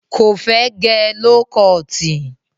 Kò fẹ́ gẹ ló kọọ̀tì.